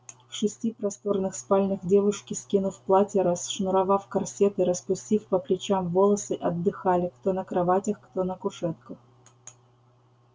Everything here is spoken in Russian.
в шести просторных спальнях девушки скинув платья расшнуровав корсеты распустив по плечам волосы отдыхали кто на кроватях кто на кушетках